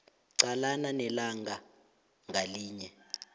qalana nelanga ngalinye